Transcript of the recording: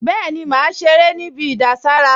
Bẹ́ẹ̀ni, màá ṣeré níbi ìdására